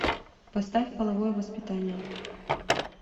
поставь половое воспитание